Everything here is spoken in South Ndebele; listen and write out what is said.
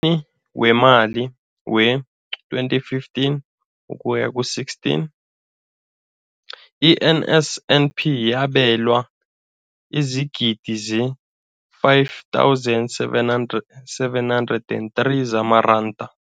Emnyakeni weemali we-2015 ukuya ku-16, i-NSNP yabelwa iingidigidi ezi-5 703 zamaranda.